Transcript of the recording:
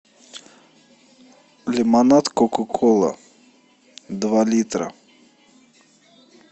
лимонад кока кола два литра